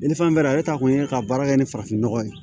ni fɛn bɛɛ ta kun ye ka baara kɛ ni farafinnɔgɔ ye